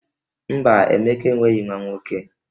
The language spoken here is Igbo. Mba, Emeka enweghi nwa nwoke